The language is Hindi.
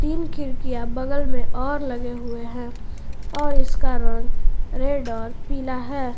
इन खिड़कियां बगल में और लगे हुए हैं और इसका रंग रेड और पीला है।